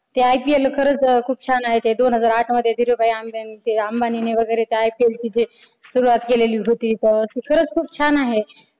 ते ipl खरंच खूप छान आहे ते दोन हजार आठ मध्ये धीरूभाई अंबानी ते अंबानी वगैरे IPL जे सुरुवात केलेली जी होती ती खरच खूप छान आहे.